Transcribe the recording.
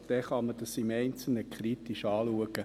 Dann kann man dies im Einzelnen kritisch anschauen.